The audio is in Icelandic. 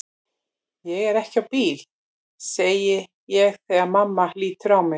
Ég er ekki á bíl, segi ég þegar mamma lítur á mig.